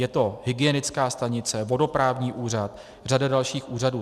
Je to hygienická stanice, vodoprávní úřad, řada dalších úřadů.